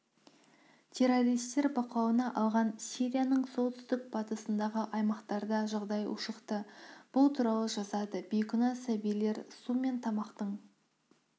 террористер бақылауына алған сирияның солтүстік-батысындағы аймақтарда жағдай ушықты бұл туралы жазады бейкүнә сәбилер су мен тамақтың